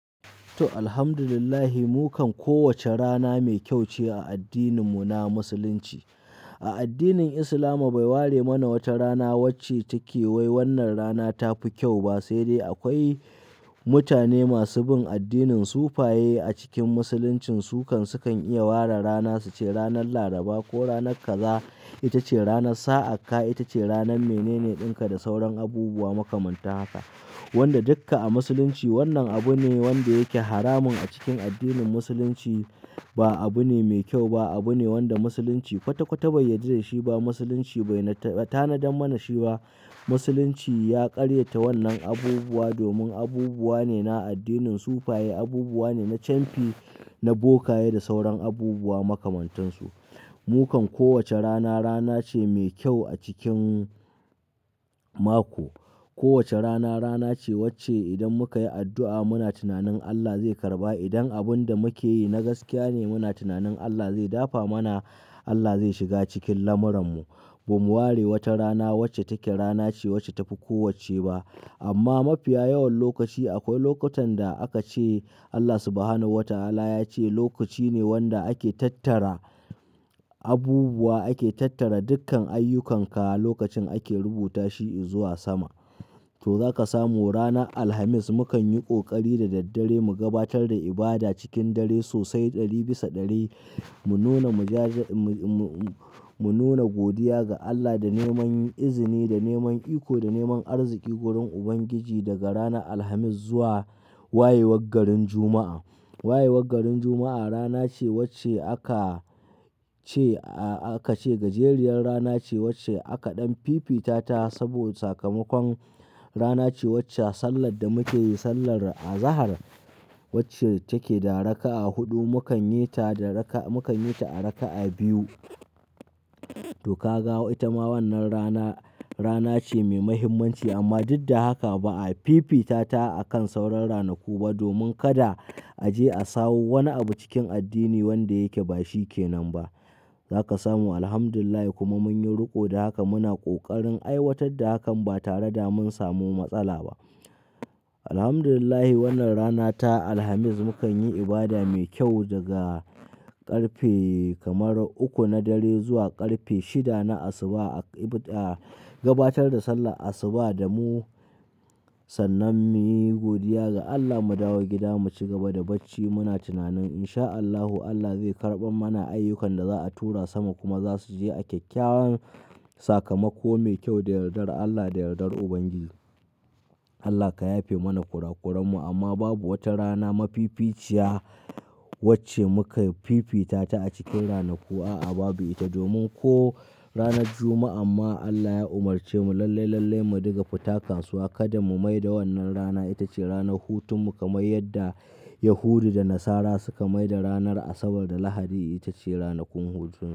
To, Alhamdulillah. Mukan kowace rana mai kyau ce a addininmu na Musulunci. A addinin Islama bai ware mana wata rana wacce take wai wannan rana ta fi kyau ba. Sai dai akwai mutane masu bin addinin sufaye a cikin Musulunci su kan, su kan iya ware rana su ce ranar Laraba ko ranar kazaa ita ce rana, sa'akka ita ce rana, mainene ɗinka da sauran abubuwa makamantan haka. Wanda dukka a Musulunci wannan abu ne wanda yake haramun a cikin addinin Musulunci. Ba abu ne mai kyau ba, abu ne wanda Musulunci kwata-kwata bai yarda da shi ba. Musulunci bai tanadan mana shi ba. Musulunci ya karyata wannan abubuwa domin abubuwa ne na addinin sufaye, abubuwa ne na camfi, na bokaye da sauran abubuwa makamantansu. Mukan kowace rana rana ce mai kyau a cikin mako. Kowace rana rana ce wacce idan muka yi addu'a muna tunanin Allah zai karɓa. Idan abun da muke yi na gaskiya ne muna tunanin Allah zai dafa mana, Allah zai shiga cikin lamuranmu. Bamu ware wata rana wacce take rana ce wacce ta fi kowacce ba. Amma mafiya yawan lokaci akwai lokutan da aka ce Allah Subhanahu wa Ta'ala ya ce lokaci ne wanda ake tattara abubuwa, ake tattara dukkan ayyukanka lokacin ake rubuta shi zuwa sama. To zaka samu ranan alhamis mukan yi ƙoƙari da daddare mu gabatar da ibada cikin dare sosai ɗari bisa ɗari. Mu nuna mujaja, mu nuna godiya ga Allah da neman izini, da neman iko, da neman arziki wurin Ubangiji daga rana Alhamis zuwa wayewar garin Juma'a. Wayewar garin Juma'a rana ce wacce aka ce aka ce gajeriyar rana ce wacce aka ɗan fifita ta saboda sakamakon rana ce wacce sallar da muke yi, sallar azahar wacce take da raka'a huɗu mukan yi ta da raka'a, mukan yi ta a raka'a biyu. To ka ga ita ma wannan rana rana ce mai mahimmanci amma duk da haka ba a fifita ta akan sauran ranaku ba domin kada a je a sawo wani abu cikin addini wanda yake ba shi ke nan ba. Zaka samu Alhamdulillah kuma mun yi riko da haka muna ƙoƙarin aiwatar da hakan ba tare da mun samu matsala ba. Alhamdulillah wannan rana ta Alhamis mukan yi ibada mai kyau daga ƙarfe kamar uku na dare zuwa ƙarfe shida na asubah a gabatar da sallah asubah da mu sannan mu yi godiya ga Allah mu dawo gida mu ci gaba da bacci muna tunanin insha Allahu Allah zai karɓar mana ayyukan da za'a tura sama kuma za su je a kyakkyawan sakamako mai kyau da yardar Allah, da yardar Ubangiji. Allah ka yafe mana kurakuranmu amma babu wata rana mafificiya wacce muka fifita ta a cikin ranaku a'a babu ita. Domin ko ranar Juma'a amma Allah ya umarce mu lallai-lallai mu diga fatakansuwa kada mu mai da wannan rana ita ce ranar hutun mu kamar yadda Yahudu da Nasara suka mai da ranar Asabar da Lahadi ita ce ranakun hutu.